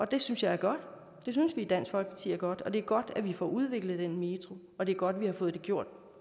det synes jeg er godt og det synes vi i dansk folkeparti er godt og det er godt at vi får udviklet den metro og det er godt at vi har fået det gjort